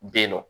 Ben nɔ